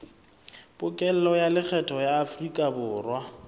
pokello ya lekgetho ya aforikaborwa